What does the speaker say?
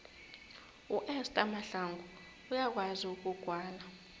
uester mahlangu uyakwazi ukugwala